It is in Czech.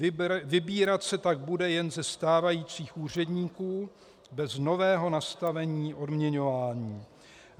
Vybírat se tak bude jen ze stávajících úředníků bez nového nastavení odměňování.